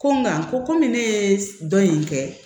Ko nga ko komi ne ye dɔn in kɛ